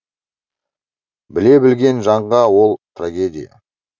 біле білген жанға ол трагедия